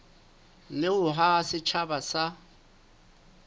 le ho haha setjhaba sa